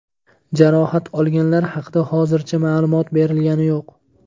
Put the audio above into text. Jarohat olganlar haqida hozircha ma’lumot berilgani yo‘q.